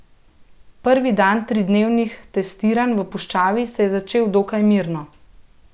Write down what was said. Prvi dan tridnevnih testiranj v puščavi se je začel dokaj mirno.